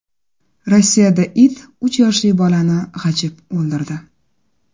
Rossiyada it uch yoshli bolani g‘ajib o‘ldirdi.